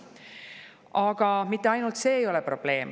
Aga mitte ainult see ei ole probleem.